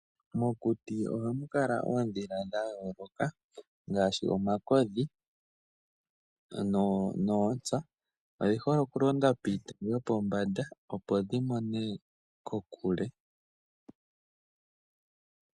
Mokuti ohamu kala oondhila dha yooloka ngaashi omakodhi noontsa. Odhi hole oku londa piitayi yopombanda opo dhi mone kokule .